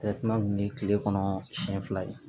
kun ye kile kɔnɔ siɲɛ fila ye